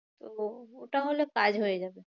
ওটা হলে কাজ হয়ে যাবে।